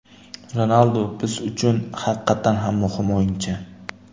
Ronaldu biz uchun haqiqatan ham muhim o‘yinchi.